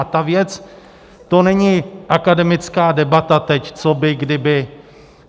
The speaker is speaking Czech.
A ta věc, to není akademická debata teď, co by kdyby.